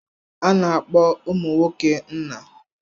A na-akpọ ụmụ nwoke nna.